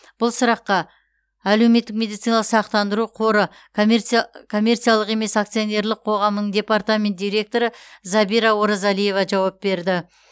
бұл сұраққа әлеуметтік медициналық сақтандыру қоры коммерциялық емес акционерлік қоғамының департаменті директоры забира оразалиева жауап берді